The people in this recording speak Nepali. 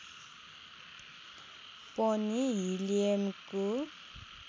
पनि हिलियमको